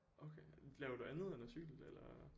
Okay laver du andet end at cykle eller